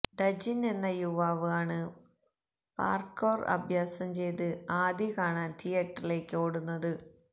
ഡജിൻ എന്ന യുവാവ് ആണ് പാർക്കൌർ അഭ്യാസം ചെയ്ത് ആദി കാണാൻ തിയറ്ററിലേക്ക് ഓടുന്നത്